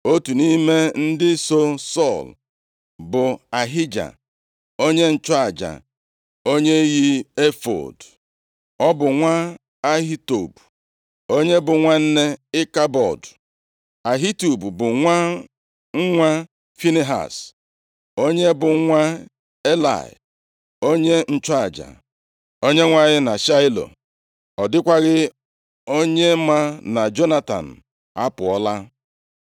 Otu nʼime ndị so Sọl bụ Ahija onye nchụaja, onye yi efọọd. + 14:3 Ọ bụ nʼime efọọd ka ụmụ nkume abụọ e ji ajụta ase nʼihu Chineke, nke bụ Urim na Tumim na-adị. \+xt Ọpụ 28:30\+xt* Ọ bụ nwa Ahitub, onye bụ nwanne Ịkabọdụ. Ahitub bụ nwa nwa Finehaz, onye bụ nwa Elayị, onye nchụaja Onyenwe anyị na Shaịlo. Ọ dịkwaghị onye ma na Jonatan apụọla.